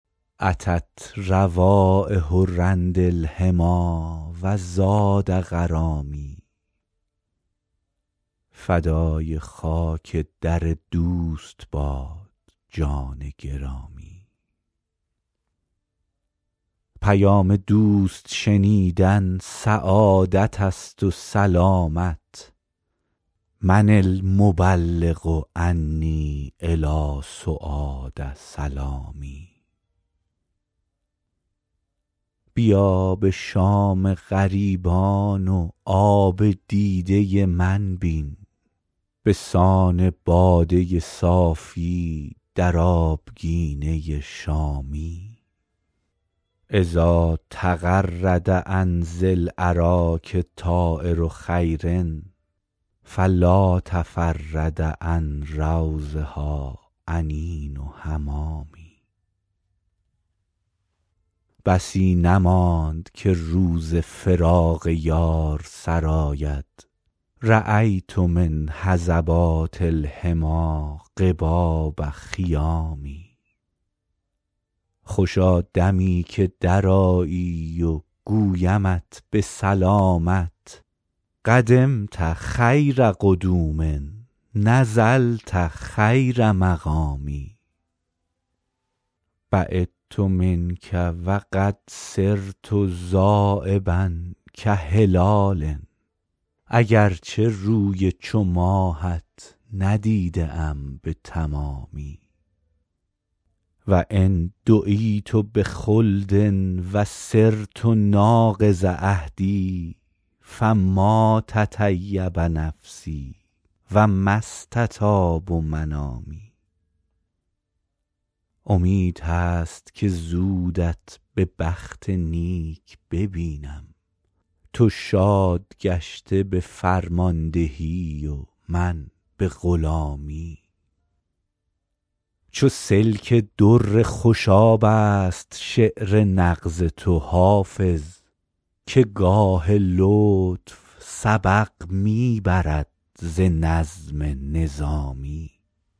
أتت روایح رند الحمیٰ و زاد غرامی فدای خاک در دوست باد جان گرامی پیام دوست شنیدن سعادت است و سلامت من المبلغ عنی إلی سعاد سلامی بیا به شام غریبان و آب دیده من بین به سان باده صافی در آبگینه شامی إذا تغرد عن ذی الأراک طایر خیر فلا تفرد عن روضها أنین حمامي بسی نماند که روز فراق یار سر آید رأیت من هضبات الحمیٰ قباب خیام خوشا دمی که درآیی و گویمت به سلامت قدمت خیر قدوم نزلت خیر مقام بعدت منک و قد صرت ذایبا کهلال اگر چه روی چو ماهت ندیده ام به تمامی و إن دعیت بخلد و صرت ناقض عهد فما تطیب نفسی و ما استطاب منامی امید هست که زودت به بخت نیک ببینم تو شاد گشته به فرماندهی و من به غلامی چو سلک در خوشاب است شعر نغز تو حافظ که گاه لطف سبق می برد ز نظم نظامی